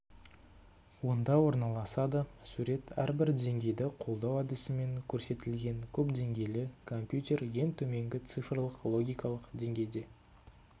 онда орналасады сурет әрбір деңгейді қолдау әдісімен көрсетілген көпдеңгейлі компьютер ең төменгі цифрлік логикалық деңгейде